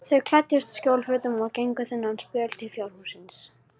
Þau klæddust skjólfötum og gengu þennan spöl til fjárhússins.